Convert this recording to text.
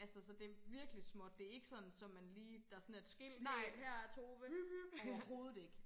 altså så det er virkelig småt det er ikke sådan så man lige der sådan er et skilt hey her er Tove overhovedet ikke